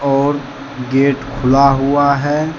और गेट खुला हुआ है।